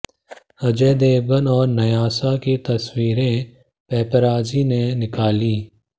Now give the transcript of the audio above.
अजय देवगन और न्यासा की तस्वीरें पैपराजी ने निकाली